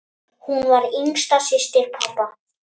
Hún var yngsta systir pabba.